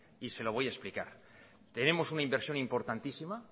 y se lo voy a explicar tenemos una inversión importantísima